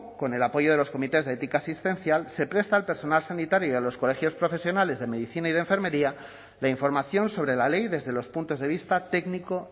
con el apoyo de los comités de ética asistencial se presta al personal sanitario y a los colegios profesionales de medicina y de enfermería la información sobre la ley desde los puntos de vista técnico